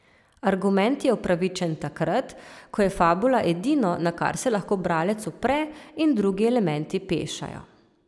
Argument je upravičen takrat, ko je fabula edino, na kar se lahko bralec opre in drugi elementi pešajo.